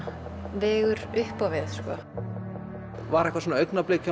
vegur upp á við var eitthvað augnablik hjá